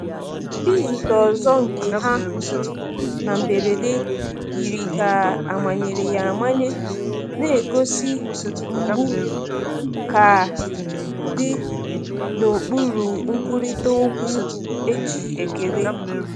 Izute ọzọ nke ha na mberede yiri ka amanyere ya amanye, na-egosi mgbu ka dị n’okpuru nkwurịta okwu e ji ekele.